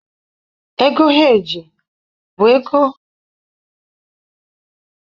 Ego Heeji bụ ego ntinye ego na-eme ka isi ego si n'aka ndị ọchụnta ego.